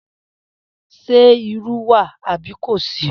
S̩e irú wà àbí kò sí?